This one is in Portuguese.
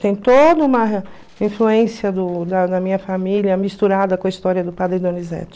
Tem toda uma influência do da da minha família misturada com a história do padre Donizetti